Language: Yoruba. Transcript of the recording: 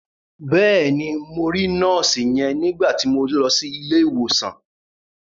Bẹ́ẹ̀ni, mo rí nọ́ọ̀sì yẹn nígbà ti mo lọ sí ilé ìwòsàn.